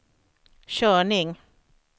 körning